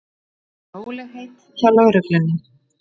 Rólegheit hjá lögreglunni